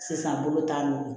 Sisan bolo t'an bolo